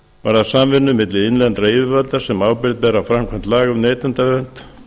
varðar samvinnu milli innlendra yfirvalda sem ábyrgð bera á framkvæmd laga um neytendavernd